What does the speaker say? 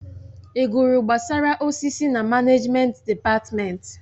Ị gụrụ gbasara osisi na manejment dịpatmenti?